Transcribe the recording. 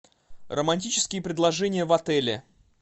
романтические предложения в отеле